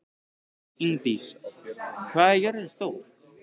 Ingdís, hvað er jörðin stór?